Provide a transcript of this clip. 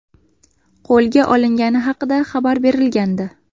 qo‘lga olingani haqida xabar berilgandi .